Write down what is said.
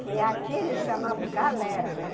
Que aqui eles chamavam galera, né?